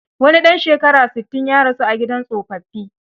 Wani ɗan shekara sittin, ya rasu a gidan tsofaffi.